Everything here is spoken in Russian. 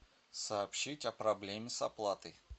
сообщить о проблеме с оплатой